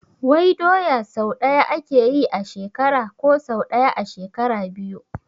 Wai doya sau ɗaya ake yi a shekara ko sau ɗaya a shekara biyu?